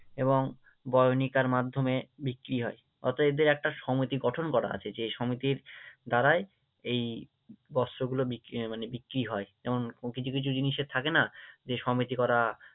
এবং বয়নিকার মাধ্যমে বিক্রি হয়, অর্থাৎ এদের একটা সমিতি গঠন করা আছে যে সমিতির দ্বারাই এই বস্ত্রগুলো আহ মানে বিক্রি হয়, যেমন কিছু কিছু জিনিসের থাকে না যে সমিতি করা